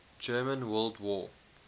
german world war